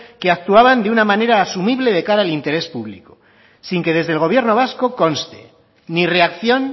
que actuaban de una manera asumible de cara al interés público sin que desde el gobierno vasco conste ni reacción